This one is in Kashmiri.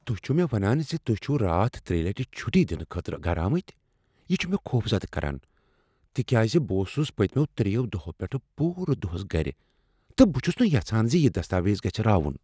تُہۍ چِھو مےٚ ونان ز تُہۍ چِھو راتھ ترٛیٚیہ لٹہ چٹھۍ دنہٕ خٲطرٕ گرٕ آمتۍ، یہ چھ مےٚ خوفزدہ کران، تِکیازِ بہٕ اوسُس پٔتمیو دۄیَو دۄہو پیٹھ پوٗرٕ دۄہس گرِ تہٕ بہٕ چھس نہٕ یژھان ز یہ دستاویز گژھِ راوُن۔